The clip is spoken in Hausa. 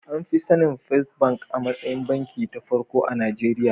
An fi sanin first bank a matsayin banki ta farko a Najeriya.